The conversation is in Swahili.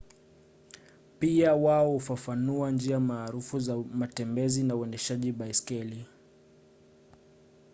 pia wao hufafanua njia maarufu za matembezi na uendeshaji baiskeli